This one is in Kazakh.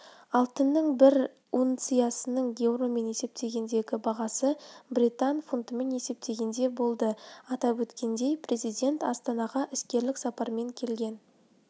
алтынның бір унциясының еуромен есептегендегі бағасы британ фунтымен есептегенде болды атап өткендей президент астанаға іскерлік сапармен келген